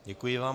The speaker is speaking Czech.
Děkuji vám.